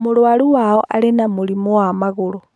Mũrũaru wao arĩ na mũrimũ wa magũrũ.